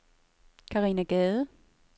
Karina Gade